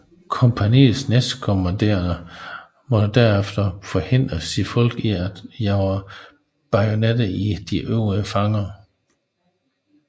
Kompagniets næstkommanderende måtte derefter forhindre sine folk i at jage bajonetterne i de øvrige fanger